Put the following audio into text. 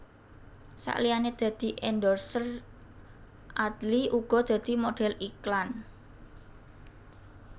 Saliyané dadi endorser Adly uga dadi modhél iklan